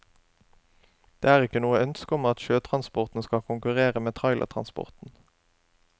Det er ikke noe ønske om at sjøtransporten skal konkurrere med trailertransporten.